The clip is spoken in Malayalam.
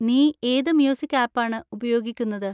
നീ ഏത് മ്യൂസിക് ആപ്പ് ആണ് ഉപയോഗിക്കുന്നത്?